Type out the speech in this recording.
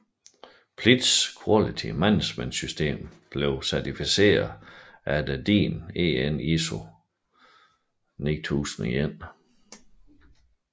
Pilz Quality Management System blev certificeret efter DIN EN ISO 9001